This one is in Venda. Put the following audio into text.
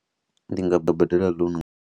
Ndi nga ḓo badela loan.